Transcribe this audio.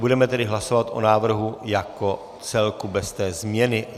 Budeme tedy hlasovat o návrhu jako celku bez té změny.